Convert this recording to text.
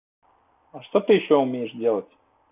а что ты ещё умеешь делать